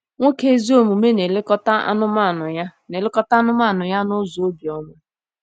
Nwoke ezi omume na-elekọta anụmanụ ya na-elekọta anụmanụ ya n’ụzọ obiọma.